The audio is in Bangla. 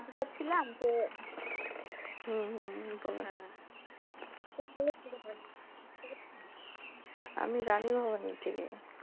আমি কি ঠিক জানতে যাচ্ছিলাম যে হুম হুম পাবেন হ্যাঁ আমি জানি আমার নীতিকে